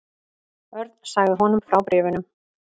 Örn sagði honum frá bréfunum.